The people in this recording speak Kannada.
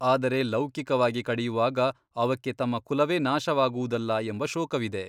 ಆದರೆ ಲೌಕಿಕವಾಗಿ ಕಡಿಯುವಾಗ ಅವಕ್ಕೆ ತಮ್ಮ ಕುಲವೇ ನಾಶವಾಗುವುದಲ್ಲಾ ಎಂಬ ಶೋಕವಿದೆ.